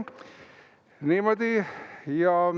Niimoodi.